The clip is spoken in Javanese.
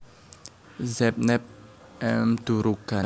Zeynep M Durukan